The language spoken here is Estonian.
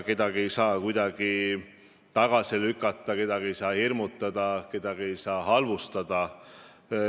Kedagi ei tohi kuidagi tagasi lükata, kedagi ei tohi hirmutada, kedagi ei tohi halvustada.